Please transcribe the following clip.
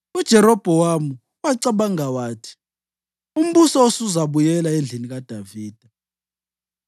UJerobhowamu wacabanga wathi, “Umbuso usuzabuyela endlini kaDavida.